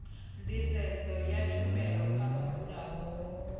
nḓisedzo ya tshumelo kha vhadzulapo